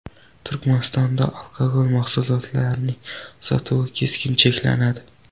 Turkmanistonda alkogol mahsulotlarining sotuvi keskin cheklanadi.